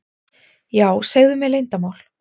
Já, segðu mér leyndarmál.